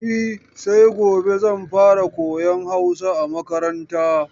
E, sai gobe zan fara koyan Hausa a makaranta.